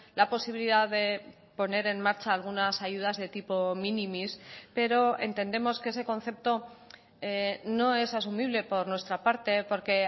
la posibilidad de poner en marcha algunas ayudas de tipo minimis pero entendemos que ese concepto no es asumible por nuestra parte porque